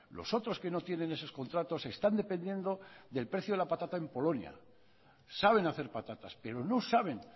los otros que no tienen esos contratos están dependiendo del precio de la patata en polonia saben hacer patatas pero no saben